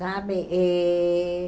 Sabe? E